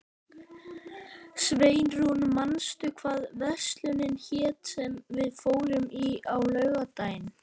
Sveinrún, manstu hvað verslunin hét sem við fórum í á laugardaginn?